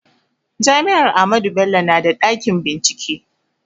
Jami'ar Ahmadu Bello na da ɗakin bincike